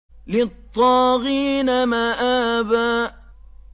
لِّلطَّاغِينَ مَآبًا